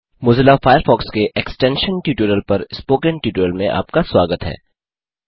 Mozilla Firefox के extension tutorial पर spoken tutorial में आपका स्वागत है